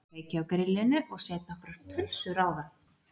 Ég kveiki á grillinu og set nokkrar pulsur á það